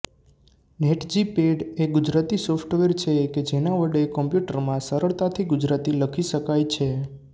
નેટજીપેડ એ ગુજરાતી સોફ્ટવેર છે કે જેના વડે કોમ્પ્યુટરમાં સરળતાથી ગુજરાતી લખી શકાય છે